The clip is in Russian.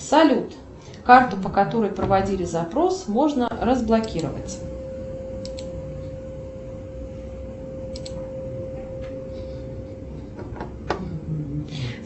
салют карту по которой проводили запрос можно разблокировать